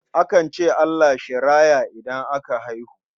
Akan ce Allah shi raya idan aka haihu.